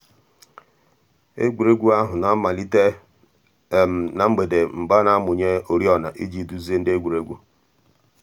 ègwè́ré́gwụ̀ àhụ̀ nà-àmàlítè nà mgbèdè mgbè a nà-àmụ̀nyè òrìọ̀nà íjì dùzìe ńdí ègwè́ré́gwụ̀.